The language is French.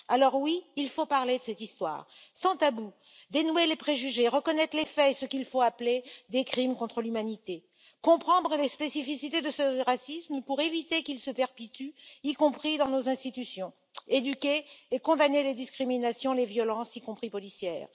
Alors, oui, il faut parler de cette histoire sans tabou, dénouer les préjugés, reconnaître les faits et ce qu'il faut appeler des crimes contre l'humanité, comprendre les spécificités de ce racisme pour éviter qu'il ne se perpétue, y compris dans nos institutions, éduquer, et condamner les discriminations et les violences, y compris policières.